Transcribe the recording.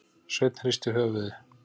Sveinn hristi höfuðið.